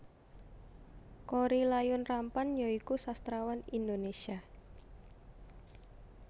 Korrie Layun Rampan ya iku sastrawan Indonésia